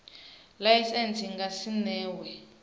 laisentsi i nga si newe